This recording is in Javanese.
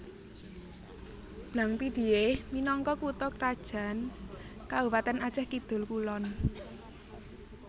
Blang Pidie minangka kutha krajan Kabupatèn Acèh Kidul kulon